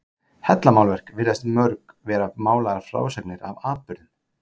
Hellamálverk virðast mörg vera málaðar frásagnir af atburðum.